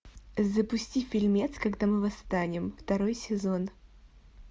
запусти фильмец когда мы восстанем второй сезон